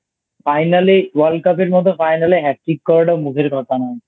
Finally World Cup এর মতো Final এ Hat trick করাটাও মুখের কথা নয় I